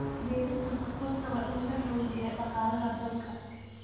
Beerista Sonkorta waa in la xoojiyo dhaqaalaha dalka.